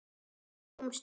Hvenær komstu?